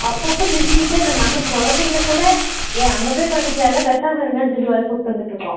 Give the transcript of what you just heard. அப்போ அப்போ நிறுத்திட்டே நாங்க குழந்தைங்களா கூட ஏ அங்க போய் பண்ணிக்கலாம்ல பேசாம இருங்க சொல்லி கூட்டு வந்துட்டு இருக்கோம்